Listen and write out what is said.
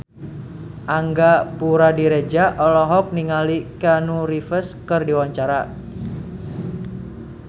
Angga Puradiredja olohok ningali Keanu Reeves keur diwawancara